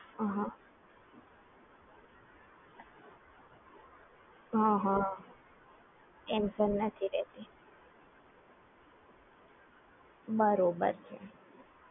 બરાબર એટલે આ application કેશ કેરી કરવાની કોઈ જરૂર હોતી નથી